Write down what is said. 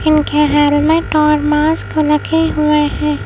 इनके हेलमेट और मास्क लगे हुए हैं।